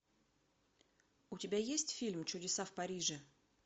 у тебя есть фильм чудеса в париже